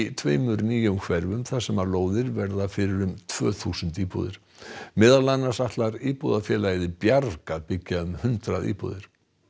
tveimur nýjum hverfum þar sem lóðir verða fyrir um tvö þúsund íbúðir meðal annars ætlar Bjarg að byggja um hundrað íbúðir